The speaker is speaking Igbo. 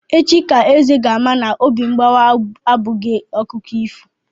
Echi ka Eze ga-ama na obi mgbawa abụghị akụkọ ifo.